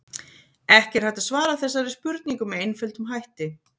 Ekki er hægt að svara þessari spurningu með einföldum hætti.